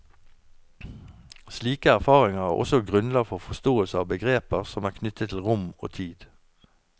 Slike erfaringer er også grunnlag for forståelse av begreper som er knyttet til rom og tid.